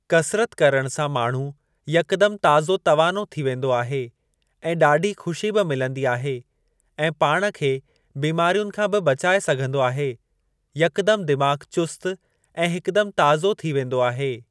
कसरत करणु सां माण्हू यकदमि ताज़ो तवानो थी वेंदो आहे ऐं ॾाढी खु़शी बि मिलंदी आहे ऐं पाण खे बिमारियुनि खां बि बचाए सघंदो आहे। यकदमि दिमाग़ चुस्त ऐं हिकुदमि ताज़ो थी वेंदो आहे।